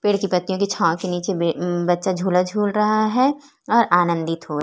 पेड़ की पत्तियों की छाव के नीचे बे बच्चा झूला झूल रहा है और आनंदित हो --